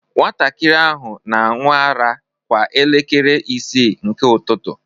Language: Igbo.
Nwatakịrị ahụ na-aṅụ ara kwa elekere isii nke ụtụtụ